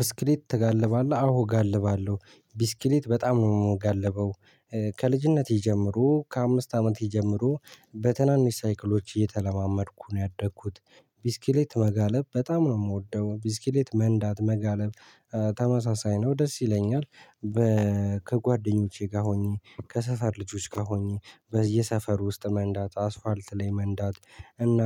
ብስክሌት ትጋልባለህ? አዎ እጋልባለሁ። ብስክሌት በጣም ነው የምጋልበው። ከልጅነቴ ጀምሮ ከአምስት አመት ጀምሮ በትናንሽ ሳይክሎች እየተለማመድኩ ነው ያደግኩት። ብስክሌት መጋለብ በጣም ነው የምወደው። ብስክሌት መንዳት መጋለብ ተመሳሳይ ነው። ደስ ይለኛል። ከጓደኞቼ ጋር ሆኜ፣ ከሰፈር ልጆች ጋር ሆኜ፣ በየሰፈሩ ውስጥ መንዳት፣ አስፋልት ላይ መንዳት እና